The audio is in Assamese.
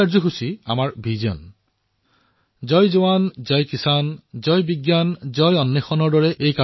এই কাৰ্যসূচীয়ে আমাৰ জয় জোৱান জয় কিষাণ জয় বিজ্ঞান জয় অনুসন্ধান বীক্ষণক প্ৰতিফলিত কৰিছে